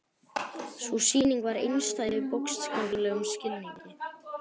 Sú sýning var einstæð í bókstaflegum skilningi.